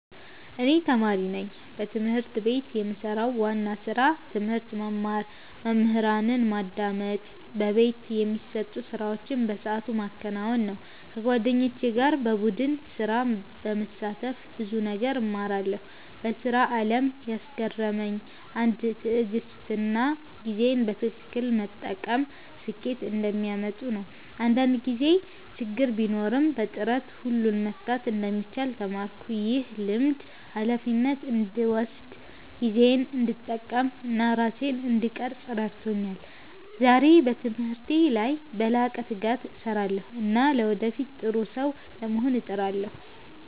እኔ ተማሪ ነኝ። በትምህርት ቤት የምሰራው ዋና ስራ ትምህርት መማር፣ መምህራንን በማዳመጥ በቤት የሚሰጡ ስራዎችን በሰዓቱ ማከናወን ነው። ከጓደኞቼ ጋር በቡድን ስራ በመሳተፍ ብዙ ነገር እማራለሁ። በስራ አለም ያስገረመኝ ነገር ትዕግሥትና ጊዜን በትክክል መጠቀም ስኬት እንደሚያመጡ ነው። አንዳንድ ጊዜ ችግር ቢኖርም በጥረት ሁሉን መፍታት እንደሚቻል ተማርኩ። ይህ ልምድ ሃላፊነትን እንድወስድ፣ ጊዜዬን እንድጠቀም እና ራሴን እንድቀርፅ ረድቶኛል። ዛሬ በትምህርቴ ላይ በላቀ ትጋት እሰራለሁ እና ለወደፊት ጥሩ ሰው ለመሆን እጥራለሁ።